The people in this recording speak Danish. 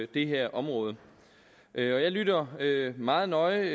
det her område jeg lytter meget nøje